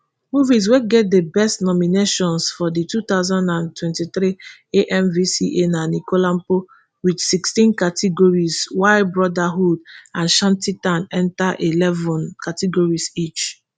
movies wey get di biggest nominations for di two thousand and twenty-three amvca na anikulapo wit sixteen categories while brotherhood and shanty town enta eleven categories each